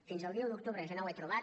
fins al dia un d’octubre jo no ho he trobat